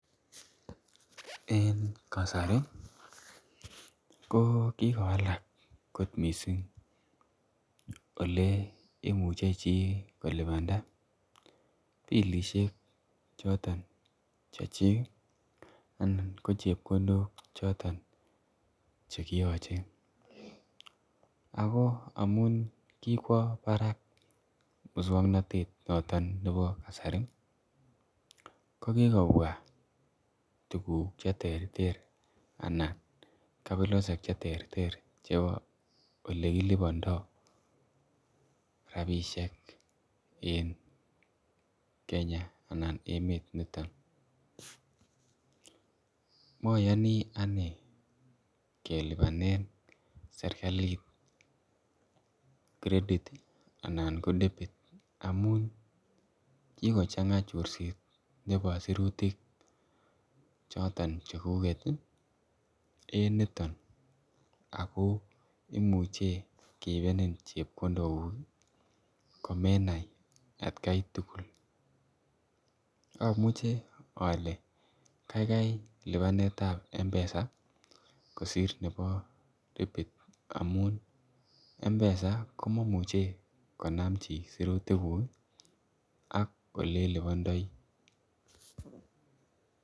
En kasari ko kikowalak, oliemuche chi kolibanda pilisiek choton Chechik ih, anan ko chebkondok choton chekiache, ago amuun kokwo barak musuaknotet noton nebo kasari ih ko kikobwa tuguk cheterter anan kabilosiek cheterter chebo olekilubando, rabisiek en Kenya. Anan emet nito. Mayani anee kelibanen serkalit credit ih anan ko debit amuun kokochang'a chorset nebo sirutik choton cheguget en niton ako imuche keibenin chebkondok kug ih, komenai at Gai tugul, amuche ale kaikai libanetab mpesa, kosir nebo debit amuun ih mpesa komamuche konam chi sirutik kuk ih, ak olenlibandai.